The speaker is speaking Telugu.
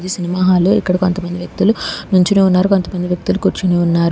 సినిమా హాలు ఇక్కడ కొంతమంది వ్యక్తులు నుంచొని ఉన్నారు కొంతమంది వ్యక్తులు కూర్చొని ఉన్నారు.